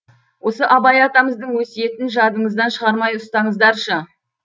осы абай атамыздың өсиетін жадыңыздан шығармай ұстаңыздаршы